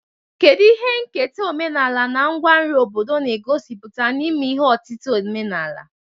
Kedu ihe nketa omenala na ngwa nri obodo na-egosipụta n'ime ihe otita ọdịnala?